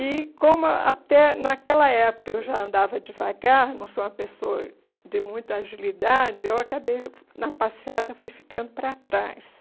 E, como até naquela época eu já andava devagar, não sou uma pessoa de muita agilidade, eu acabei, na passeata, fui ficando para trás.